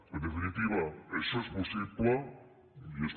en definitiva això és possible i és